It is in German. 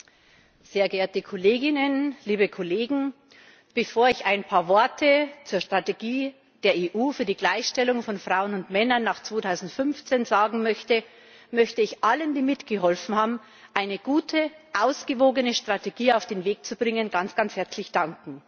Herr Präsident, sehr geehrte Kolleginnen, liebe Kollegen! Bevor ich ein paar Worte zur Strategie der EU für die Gleichstellung von Frauen und Männern nach 2015 sagen möchte, möchte ich allen, die mitgeholfen haben, eine gute, ausgewogene Strategie auf den Weg zu bringen, ganz herzlich danken.